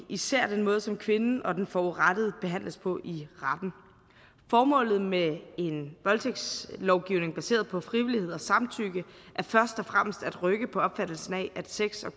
især den måde som kvinden og den forurettede behandles på i retten formålet med en voldtægtslovgivning baseret på frivillighed og samtykke er først og fremmest at rykke på opfattelsen af sex og